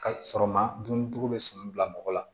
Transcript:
Ka sɔrɔ ma dun tugun bɛ sun bila mɔgɔ la